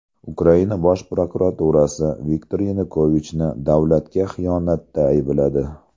Ukraina bosh prokuraturasi Viktor Yanukovichni davlatga xiyonatda aybladi.